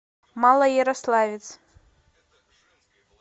малоярославец